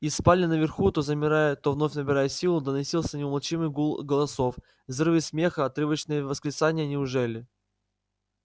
из спален наверху то замирая то вновь набирая силу доносился неумолчный гул голосов взрывы смеха отрывочные восклицания неужели